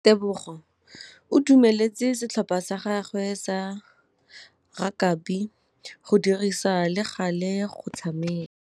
Tebogô o dumeletse setlhopha sa gagwe sa rakabi go dirisa le galê go tshameka.